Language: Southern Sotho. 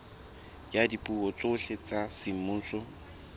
ya dipuo tsohle tsa semmuso